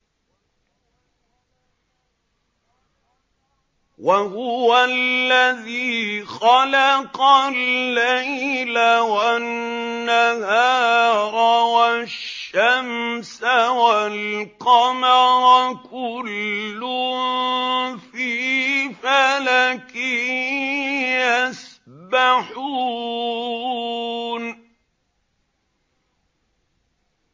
وَهُوَ الَّذِي خَلَقَ اللَّيْلَ وَالنَّهَارَ وَالشَّمْسَ وَالْقَمَرَ ۖ كُلٌّ فِي فَلَكٍ يَسْبَحُونَ